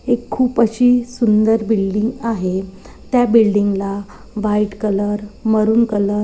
एक खूप अशी सुंदर बिल्डिंग आहे त्या बिल्डिंग ला व्हाइट कलर मरून कलर --